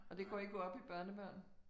Og det går ikke op i børnebørn?